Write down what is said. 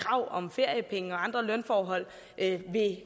krav om feriepenge og andre lønforhold at det